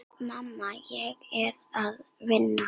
Mamma, ég er að vinna.